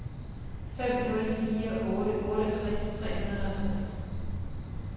fem nul fire otte otteogtres tre hundrede og tres